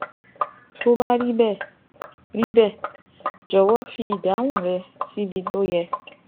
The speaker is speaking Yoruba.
Tó bá rí bẹ́ẹ̀, rí bẹ́ẹ̀, jọ̀wọ́ fi ìdáhùn rẹ síbi tó yẹ